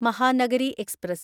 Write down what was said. Mahanagari express